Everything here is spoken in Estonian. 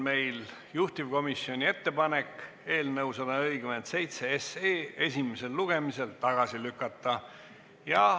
Meil on juhtivkomisjoni ettepanek eelnõu 147 esimesel lugemisel tagasi lükata.